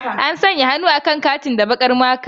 An sanya hannu akan katin da baƙar maka.